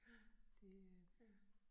Ja. Ja